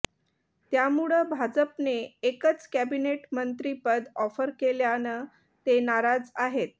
त्यामुळं भाजपने एकच कॅबिनेट मंत्रीपद ऑफर केल्यानं ते नाराज आहेत